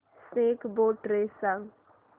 snake boat race सांग